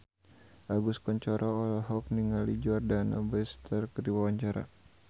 Agus Kuncoro olohok ningali Jordana Brewster keur diwawancara